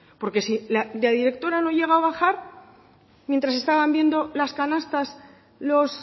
porque si la directora no llega a bajar mientras estaban viendo las canastas los